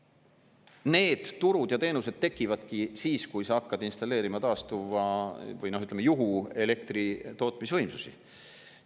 Need turud ja teenused tekivadki siis, kui sa hakkad installeerima juhu-elektritootmisvõimsusi.